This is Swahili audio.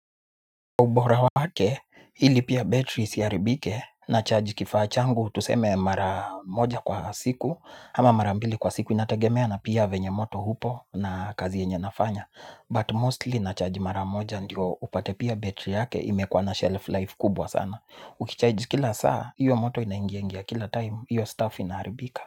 Ubora wake, hili pia battery isiharibike na charge kifaa changu, tuseme mara moja kwa siku, ama mara mbili kwa siku inategemea na pia venya moto upo na kazi yenye nafanya. But mostly nacharge mara moja ndio upate pia battery yake imekua na shelf life kubwa sana ukicharge kila saa hio moto inaingiaingia kila time hio stuff inaharibika.